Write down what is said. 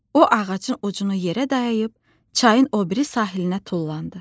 O ağacın ucunu yerə dayayıb, çayın o biri sahilinə tullandı.